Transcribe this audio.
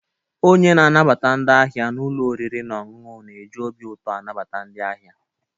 Onye na-anabata ndi ahia n'ulọ oriri na ọṅụṅụ na eji obi ụtọ na-anabata ndị ahịa